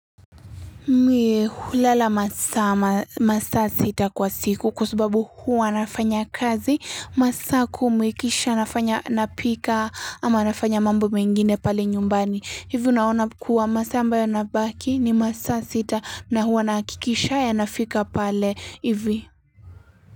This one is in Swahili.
Mii hulala masaa sita kwa siku kwa subabu huwa nafanya kazi, masaa kumi kisha nafanya napika ama nafanya mambo mengine pale nyumbani. Hivyo naona kuwa masaa ambayo yanabaki ni masaa sita na huwa nahakikisha yanafika pale hivi.